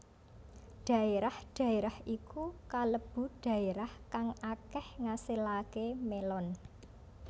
Dhaérah dhaérah iku kalebu dhaérah kang akéh ngasilaké mélon